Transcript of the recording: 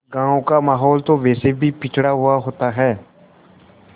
गाँव का माहौल तो वैसे भी पिछड़ा हुआ होता है